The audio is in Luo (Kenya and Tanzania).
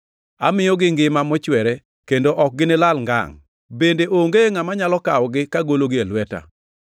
Amiyogi ngima mochwere, kendo ok ginilal ngangʼ, bende onge ngʼama nyalo kawogi kagologi e lweta.